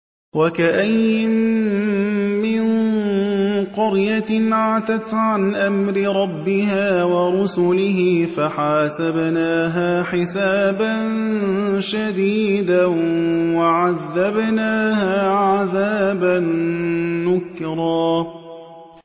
وَكَأَيِّن مِّن قَرْيَةٍ عَتَتْ عَنْ أَمْرِ رَبِّهَا وَرُسُلِهِ فَحَاسَبْنَاهَا حِسَابًا شَدِيدًا وَعَذَّبْنَاهَا عَذَابًا نُّكْرًا